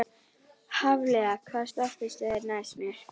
Hafliða, hvaða stoppistöð er næst mér?